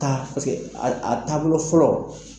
Taa paseke a taabolo fɔlɔ.